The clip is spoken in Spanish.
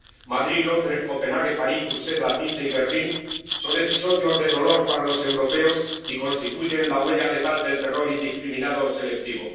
Madrid, Londres, Copenhague, París, Bruselas, Niza y Berlín son episodios de dolor para los europeos y constituyen la huella letal del terror indiscriminado selectivo.